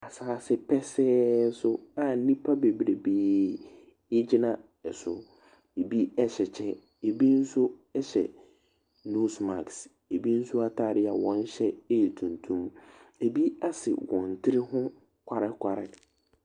Asaase pɛsɛɛ so a nnipa bebrebee egyina ɛso. Ebi ɛhyɛ kyɛ, ebi nso ɛhyɛ nos maks. Ebi nso ataade a wɔn hyɛ ɛyɛ tuntum. Ebi asi wɔn tiri ho kwarekware.